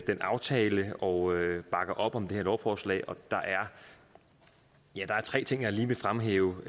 den aftale og bakker op om det her lovforslag der er tre ting jeg lige vil fremhæve